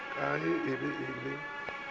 ye ka ge ke be